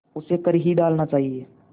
उसे कर ही डालना चाहिए